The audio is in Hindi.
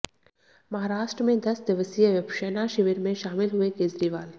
महाराष्ट्र में दस दिवसीय विपश्यना शिविर में शामिल हुए केजरीवाल